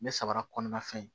Me samara kɔnɔna fɛn ye